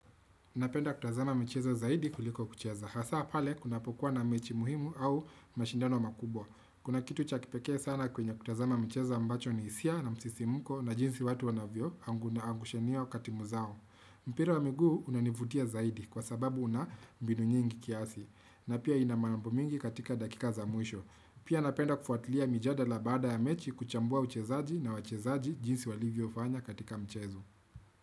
Unapenda kutazama mchezo zaidi kuliko kucheza, hasa pale kunapokuwa na mechi muhimu au mashindano makubwa. Kuna kitu chakipeke sana kwenye kutazama mchezo ambacho ni isia na msisimuko na jinsi watu wanavyo angushe niyo katimu zao. Mpira wa migu unanivutia zaidi kwa sababu una mbinu nyingi kiasi, na pia inamanambu mingi katika dakika za mwisho. Pia napenda kufuatilia mijadala baada ya mechi kuchambua uchezaji na wachezaji jinsi walivyo fanya katika mchezo.